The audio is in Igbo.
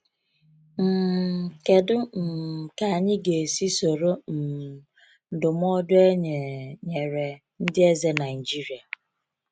um Kedụ um ka anyị ga esi soro um ndụmọdụ enye nyere ndị eze Naịịjiria?